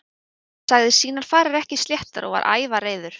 Hann sagði sínar farir ekki sléttar og var ævareiður.